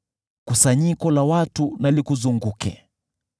Kusanyiko la watu na likuzunguke. Watawale kutoka juu.